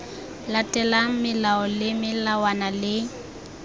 latelang melao le melawana le